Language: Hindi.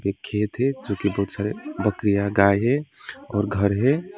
एक खेत है जोकि बहुत सारे बकरिया गाय है और घर है।